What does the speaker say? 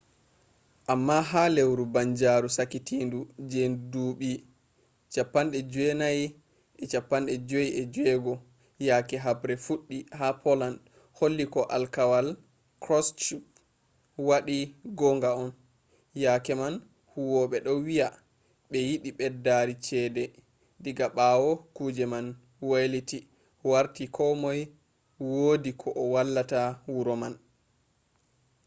amma ha lewru banjaru sakitindu je duuɓi 1956 yake habre fuɗɗi ha poland holli ko alkawal kroshchev waɗi gonga on. yake man huwoɓe ɗo wiya ɓe yiɗi ɓeddari cede. diga ɓawo kuje man weiliti warti ko moi wodi ko o wallata wuro man